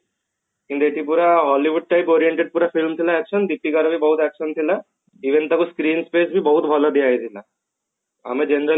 କିନ୍ତୁ ଏଠି ପୁରା Hollywood type oriented ପୁରା film ଥିଲା action ଦୀପିକା ର ବି ବହୁତ action ଥିଲା heroin କୁ screen space ବି ବହୁତ ଭଲ ଦିଆଯାଇଥିଲା ଆମେ generally କଣ